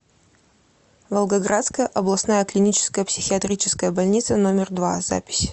волгоградская областная клиническая психиатрическая больница номер два запись